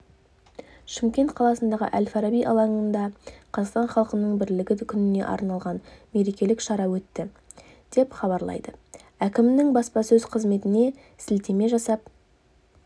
шымкент қаласындағы әл-фараби алаңында қазақстан халқының бірлігі күніне арналған мерекелік шара өтті деп хабарлайды әкімінің баспасөз қызметіне сілтеме жасап